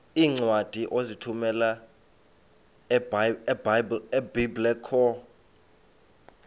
iincwadi ozithumela ebiblecor